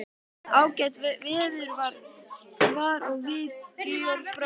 Ágætt veður var og við Georg bróðir, ásamt